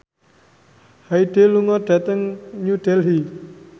Hyde lunga dhateng New Delhi